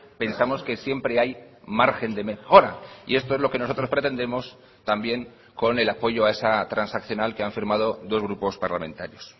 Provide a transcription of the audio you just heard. pensamos que siempre hay margen de mejora y esto es lo que nosotros pretendemos también con el apoyo a esa transaccional que han firmado dos grupos parlamentarios